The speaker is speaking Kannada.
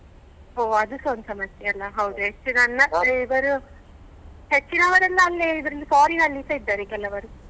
ಹೊ ಅದುಸ ಒಂದ್ ಸಮಸ್ಯೆ ಅಲ್ಲ ಹೌದು ಹೆಚ್ಚಿನವರೆಲ್ಲ ಅಲ್ಲೇ Foreign ಅಲ್ಲಿಸ ಇದ್ದಾರೆ ಕೆಲವರು.